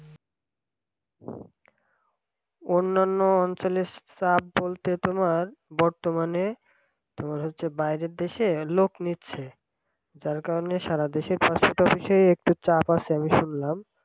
অন্যান্য অঞ্চলের চাপ বলতে তোমার বর্তমানে তোমার হচ্ছে বাইরের দেশে লোক নিচ্ছে যার কারণে সারাদেশে passport office একটু চাপ আছে শুনলাম